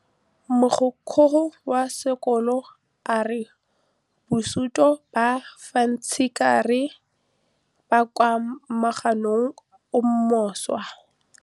Mogokgo wa sekolo a re bosutô ba fanitšhara bo kwa moagong o mošwa.